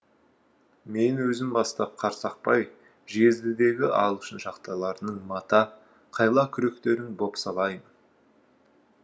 мен өзім бастап қарсақпай жездідегі ағылшын шахталарының мата қайла күректерін бопсалаймын